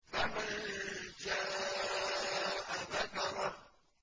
فَمَن شَاءَ ذَكَرَهُ